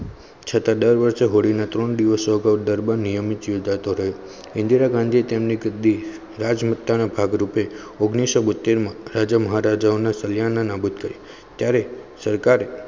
છતાં દર વર્ષે ઘોળીને ત્રણ દિવસો દરમિયાન દરબાર નિયમિત યોજાતોરે ઇન્દીરા ગાંધી તેમની ગદી રાજમાતાના ભાગરૂપે ઓગણીસો બોતેર માં રાજા મહારાજાઓને સલ્યાના નાબુદ કર્યો ત્યારે સરકારે